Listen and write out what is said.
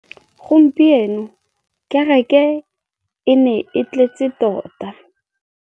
Gompieno kêrêkê e ne e tletse tota.